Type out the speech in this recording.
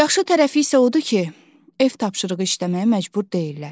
Yaxşı tərəfi isə odur ki, ev tapşırığı işləməyə məcbur deyillər.